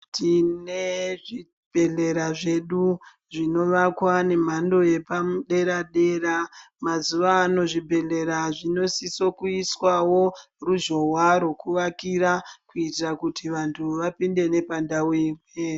Tinee zvibhedhlera zvedu zvinovakwa nemhando yepamudera dera mazuwano zvibhedhlera zvinosisa kuiswawo ruzhowa rokuvakira kuitira kuti vantu vapinde nepandau imwe.